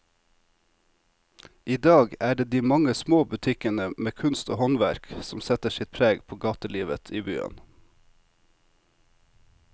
I dag er det de mange små butikkene med kunst og håndverk som setter sitt preg på gatelivet i byen.